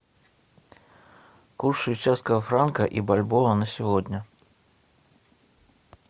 курс швейцарского франка и бальбоа на сегодня